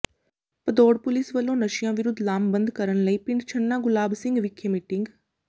Bhadaur police ਵੱਲੋਂ ਨਸ਼ਿਆਂ ਵਿਰੁੱਧ ਲਾਮਬੰਦ ਕਰਨ ਲਈ ਪਿੰਡ ਛੰਨਾ ਗੁਲਾਬ ਸਿੰਘ ਵਿਖੇ ਮੀਟਿੰਗ